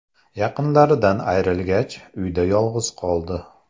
Yaqinlaridan ayrilgach, uyda yolg‘iz qoldi.